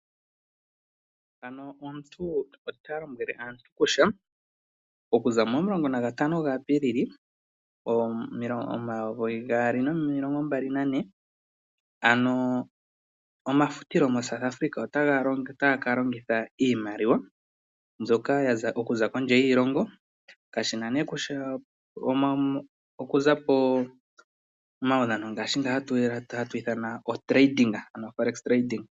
Pano omuntu ota lombwele aantu kutya okuza momulongo nagatano ga Apilili omayovi gaali nomilongo mbali nane ano omafutilo moSouth Africa otaga ka longitha iimaliwa mbyoka ya za komdje yiilongo kashina nee kutya okuza pooudhano ngaashi nga ha twiithana otrading ano oForex trading.